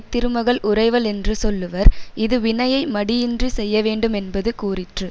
திருமகள் உறைவளென்று சொல்லுவர் இது வினையை மடியின்றிச் செய்யவேண்டுமென்பது கூறிற்று